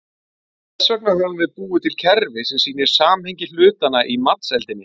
Þess vegna höfum við búið til kerfi sem sýnir samhengi hlutanna í matseldinni.